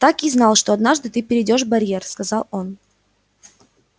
так и знал что однажды ты перейдёшь барьер сказал он